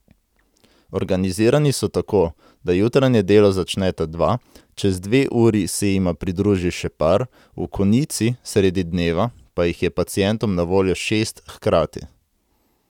Organizirani so tako, da jutranje delo začneta dva, čez dve uri se jima pridruži še par, v konici, sredi dneva, pa jih je pacientom na voljo šest hkrati.